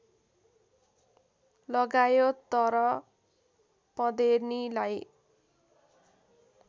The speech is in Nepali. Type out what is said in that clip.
लगायो तर पँधेर्नीलाई